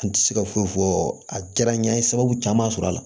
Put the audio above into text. N ti se ka foyi fɔ a diyara n ɲe n ye sababu caman sɔrɔ a la